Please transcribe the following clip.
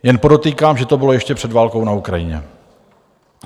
Jen podotýkám, že to bylo ještě před válkou na Ukrajině.